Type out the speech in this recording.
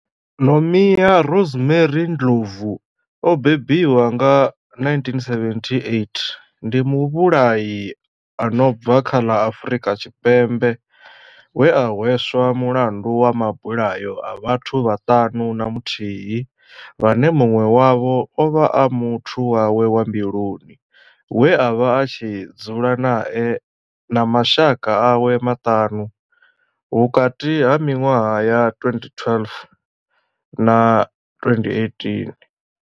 Nomia Rosemary Ndlovu o bebiwaho nga 1978 ndi muvhulahi a no bva kha ḽa Afurika Tshipembe we a hweswa mulandu wa mabulayo a vhathu vhaṱanu na muthihi vhane munwe wavho ovha a muthu wawe wa mbiluni we avha a tshi dzula nae na mashaka awe maṱanu vhukati ha minwaha ya 2012 na 2018.